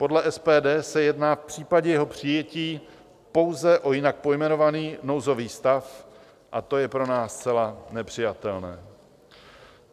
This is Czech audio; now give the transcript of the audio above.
Podle SPD se jedná v případě jeho přijetí pouze o jinak pojmenovaný nouzový stav, a to je pro nás zcela nepřijatelné.